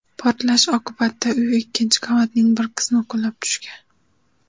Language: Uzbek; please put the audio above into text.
Portlash oqibatida uy ikkinchi qavatining bir qismi qulab tushgan.